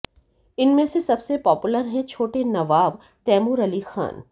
इनमें से सबसे पॉपुलर हैं छोटे नवाब तैमूर अली खान